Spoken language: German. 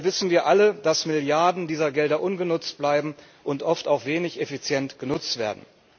Dabei wissen wir alle, dass Milliarden dieser Gelder ungenutzt bleiben und oft auch wenig effizient genutzt werden.